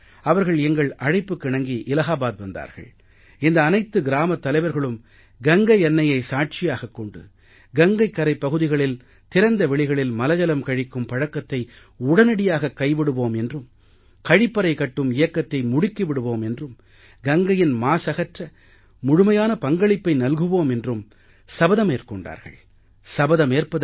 அவர்கள் எங்கள் அழைப்புக்கிணங்கி இலாஹாபாத் வந்தார்கள் இந்த அனைத்து கிராமத் தலைவர்களும் கங்கை அன்னையை சாட்சியாகக் கொண்டு கங்கைக் கரைப்பகுதிகளில் திறந்த வெளிகளில் மலஜலம் கழிக்கும் பழக்கத்தை உடனடியாகக் கைவிடுவோம் என்றும் கழிப்பறை கட்டும் இயக்கத்தை முடுக்கி விடுவோம் என்றும் கங்கையின் மாசகற்ற முழுமையான பங்களிப்பை நல்குவோம் என்றும் அவர்கள் கிராமங்கள் கங்கையை அசுத்தம் செய்யாது எனவும் சபதமேற்கொண்டார்கள்